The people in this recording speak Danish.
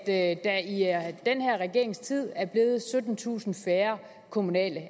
at der i den her regerings tid er blevet syttentusind færre kommunalt